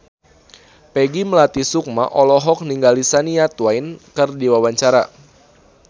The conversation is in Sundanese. Peggy Melati Sukma olohok ningali Shania Twain keur diwawancara